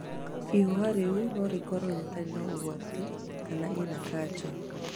Ihũha rĩũ no rĩkorwo rĩtarĩ na ũgwati kana ĩna kanja